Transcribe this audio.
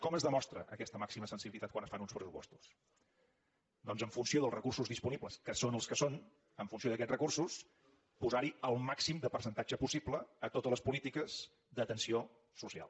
com es demostra aquesta màxima sensibilitat quan es fan uns pressupostos doncs en funció dels recursos disponibles que són els que són en funció d’aquests recursos posar hi el màxim de percentatge possible a totes les polítiques d’atenció social